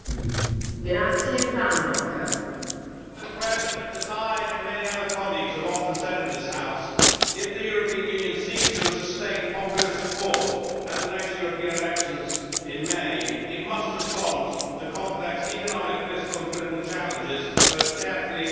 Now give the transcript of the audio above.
Madam President, as I and many other colleagues have often said in this House, if the European Union seeks to sustain popular support at the next European elections in May, it must respond to complex economic, fiscal and political challenges both carefully and sensitively.